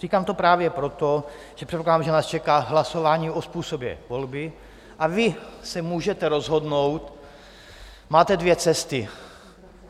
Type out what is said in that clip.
Říkám to právě proto, že předpokládám, že nás čeká hlasování o způsobu volby, a vy se můžete rozhodnout, máte dvě cesty.